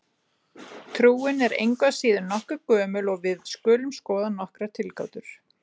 Trúin er engu að síður nokkuð gömul og við skulum skoða nokkrar tilgátur.